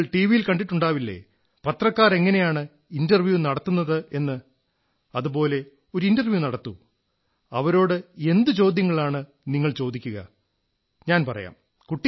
നിങ്ങൾ ടിവിയിൽ കണ്ടിട്ടുണ്ടാവില്ലേ പത്രക്കാർ എങ്ങനെയാണ് ഇന്റർവ്യൂ നടത്തുന്നതെന്ന് അതുപോലെ ഒരു ഇന്റർവ്യൂ നടത്തൂ അവരോട് എന്തു ചോദ്യങ്ങളാണ് നിങ്ങൾ ചോദിക്കുക ഞാൻ പറയാം